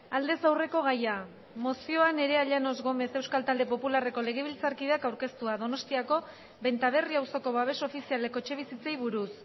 aldez aurreko gaia mozioa nerea llanos gómez euskal talde popularreko legebiltzarkideak aurkeztua donostiako benta berri auzoko babes ofizialeko etxebizitzei buruz